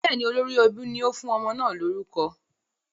Bẹ́ẹ̀ ni, olórí ẹbí ni ó fún ọmọ náà lórúkọ.